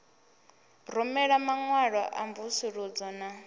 rumela maṅwalo a mvusuludzo na